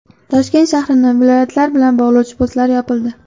Toshkent shahrini viloyatlar bilan bog‘lovchi postlar yopildi.